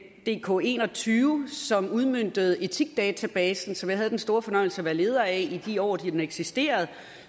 dk21 som udmøntede etikdatabasen som jeg havde den store fornøjelse at være leder af i de år den eksisterende